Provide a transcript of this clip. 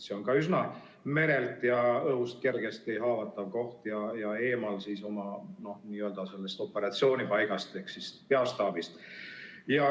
See on merelt ja õhust üsna kergesti haavatav koht ja eemal oma n‑ö operatsioonipaigast ehk siis peastaabist.